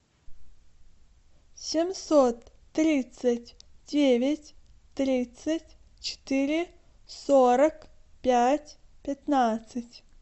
семьсот тридцать девять тридцать четыре сорок пять пятнадцать